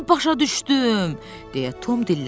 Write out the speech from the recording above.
İndi başa düşdüm, deyə Tom dilləndi.